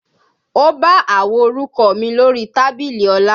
O bá àwo orúkọ mi lórí tábìlì Ọlá